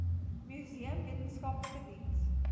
museum wetenskaplike diens